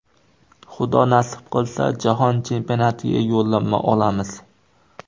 Xudo nasib qilsa, Jahon chempionatiga yo‘llanma olamiz.